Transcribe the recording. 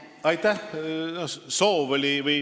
Aitäh!